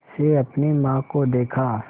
से अपनी माँ को देखा